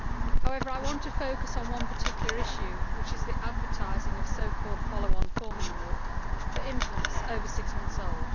However, I want to focus on one particular issue, which is the advertising of so called follow on formula milk for infants over six months old.